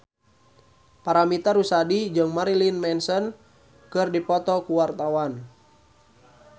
Paramitha Rusady jeung Marilyn Manson keur dipoto ku wartawan